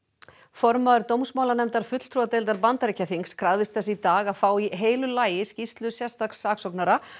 formaður fulltrúadeildar Bandaríkjaþings krafðist þess í dag að fá í heilu lagi skýrslu sérstaks saksóknara